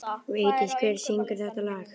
Vigdís, hver syngur þetta lag?